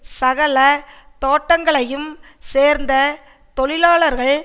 சகல தோட்டங்களையும் சேர்ந்த தொழிலாளர்கள்